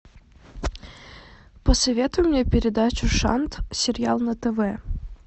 посоветуй мне передачу шант сериал на тв